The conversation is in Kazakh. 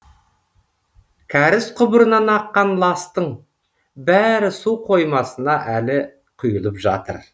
кәріз құбырынан аққан ластың бәрі су қоймасына әлі құйылып жатыр